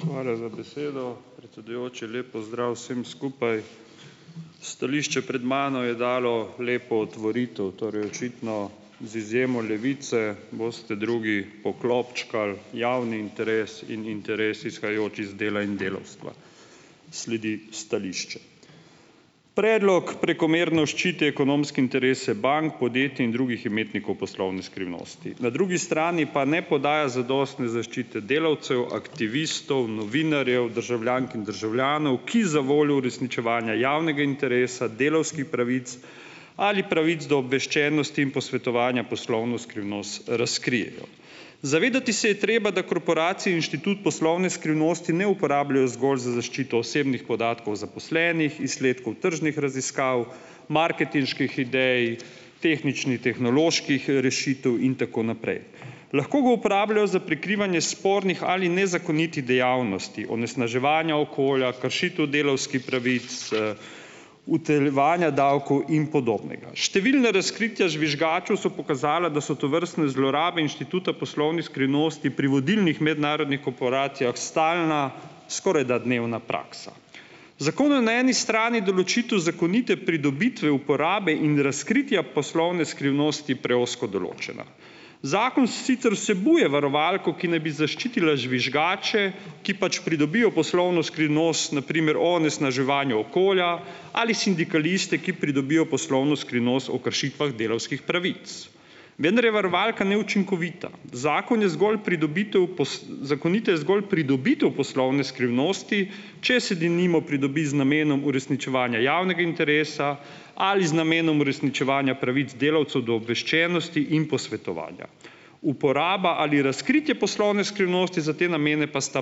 Hvala za besedo, predsedujoči, lep pozdrav vsem skupaj. Stališče pred mano je dalo lepo otvoritev, torej očitno z izjemo Levice boste drugi poklopčkali javni interes in interes, izhajajoč iz dela in delavstva. Sledi stališče. Predlog prekomerno ščiti ekonomske interese bank podjetij in drugih imetnikov poslovne skrivnosti, na drugi strani pa ne podaja zadostne zaščite delavcev aktivistov, novinarjev, državljank in državljanov, ki zavoljo uresničevanje javnega interesa delavskih pravic ali pravic do obveščenosti in posvetovanja poslovno skrivnost razkrijejo, zavedati se je treba, da korporacije inštitut poslovne skrivnosti ne uporabljajo zgolj za zaščito osebnih podatkov zaposlenih, izsledkov tržnih raziskav, marketinških idej, tehničnih, tehnoloških rešitev in tako naprej, lahko ga uporabljajo za prikrivanje spornih ali nezakonitih dejavnosti onesnaževanja okolja, kršitev delavskih pravic, utajevanja davkov in podobnega. Številna razkritja žvižgačev so pokazala, da so tovrstne zlorabe inštituta poslovne skrivnosti pri vodilnih mednarodnih korporacijah stalna, skorajda dnevna praksa. Zakon na eni strani določitev zakonite pridobitve uporabe in razkritja poslovne skrivnosti preozko določena. Zakon sicer vsebuje varovalko, ki naj bi zaščitila žvižgače, ki pač pridobijo poslovno skrivnost, na primer o onesnaževanju okolja ali sindikaliste, ki pridobijo poslovno skrivnost o kršitvah delavskih pravic, vendar je varovalka neučinkovita, zakon je zgolj pridobitev zakonita je zgolj pridobitev poslovne skrivnosti, če se denimo pridobi z namenom uresničevanja javnega interesa ali z namenom uresničevanja pravic delavcev do obveščenosti in posvetovanja. Uporaba ali razkritje poslovne skrivnosti za te namene pa sta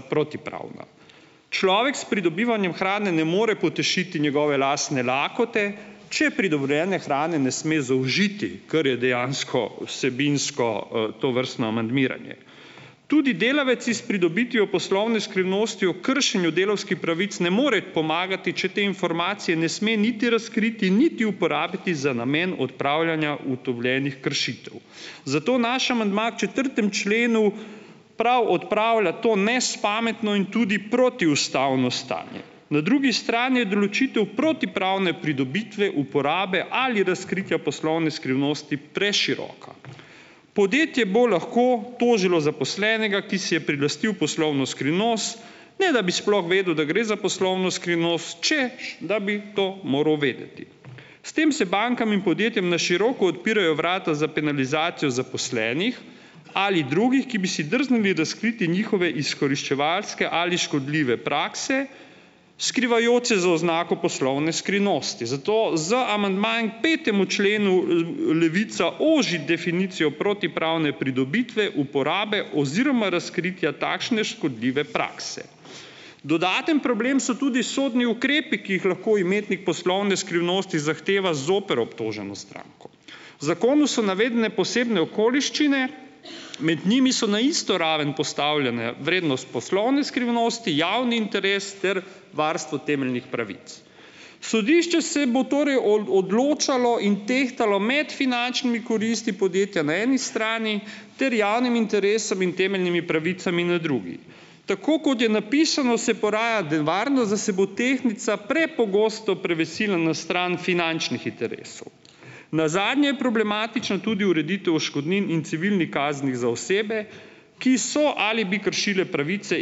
protipravna, človek s pridobivanjem hrane ne more potešiti njegove lasne lakote, če priborjene hrane ne sme zaužiti, kar je dejansko vsebinsko, tovrstno amandmiranje. Tudi delavec s pridobitvijo poslovne skrivnosti o kršenju delavskih pravic ne more pomagati, če te informacije ne sme niti razkriti niti uporabiti za namen odpravljanja ugotovljenih kršitev, zato naš amandma četrtem členu prav odpravlja to nespametno in tudi protiustavno stanje, na drugi strani je določitev protipravne pridobitve uporabe ali razkritja poslovne skrivnosti preširoka, podjetje bo lahko tožilo zaposlenega, ki si je prilastil poslovno skrivnost, ne da bi sploh vedel, da gre za poslovno skrivnost, češ da bi to moral vedeti, s tem se bankam in podjetjem na široko odpirajo vrata za penalizacijo zaposlenih ali drugih, ki bi si drznili razkriti njihove izkoriščevalske ali škodljive prakse, skrivajoč se za oznako poslovne skrivnosti, zato z amandmajem petemu členu Levica oži definicijo protipravne pridobitve uporabe oziroma razkritja takšne škodljive prakse. Dodaten problem so tudi sodni ukrepi, ki jih lahko imetnik poslovne skrivnosti zahteva zoper obtoženo stranko, v zakonu so navedene posebne okoliščine, med njimi so na isto raven postavljene vrednost poslovne skrivnosti, javni interes ter varstvo temeljnih pravic, sodišče se bo torej odločalo in tehtalo med finančnimi koristmi podjetja na eni strani ter javnim interesom in temeljnimi pravicami na drugi. Tako kot je napisano, se poraja nevarnost, da se bo tehnica prepogosto prevesila na stran finančnih interesov, nazadnje je problematična tudi ureditev odškodnin in civilnih kazni za osebe, ki so ali bi kršile pravice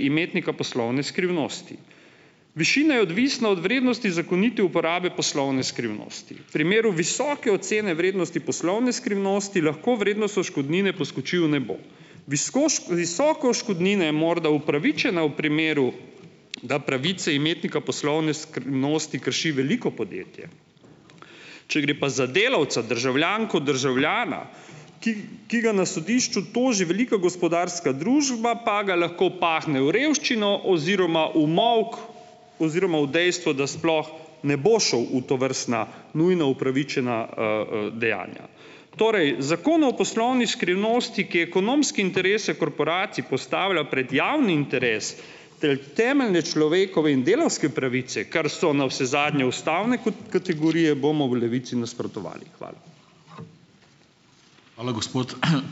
imetnika poslovne skrivnosti, višina je odvisna od vrednosti zakonite uporabe poslovne skrivnosti, primeru visoke ocene vrednosti poslovne skrivnosti lahko vrednost odškodnine poskoči v nebo, visoke odškodnine je morda upravičena v primeru, da pravice imetnika poslovne skrivnosti krši veliko podjetje, če gre pa za delavca, državljanko, državljana, ki ki ga na sodišču toži velika gospodarska družba, pa ga lahko pahne v revščino oziroma v molk oziroma v dejstvo, da sploh ne bo šel v tovrstna nujna upravičena, dejanja. Torej zakon o poslovni skrivnosti, ki ekonomske interese korporacij postavlja pred javni interes ter temeljne človekove in delavske pravice, kar so navsezadnje ustavne kot kategorije bomo v Levici nasprotovali, hvala. Hvala, gospod ...